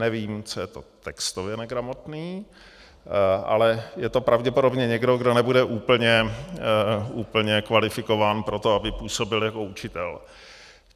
Nevím, co je to textově negramotný, ale je to pravděpodobně někdo, kdo nebude úplně kvalifikován pro to, aby působil jako učitel.